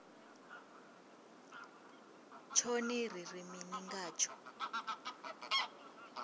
tshone ri ri mini ngatsho